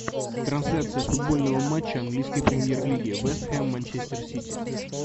трансляция футбольного матча английской премьер лиги вест хэм манчестер сити